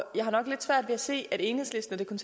jeg har nok lidt svært ved at se at enhedslisten og det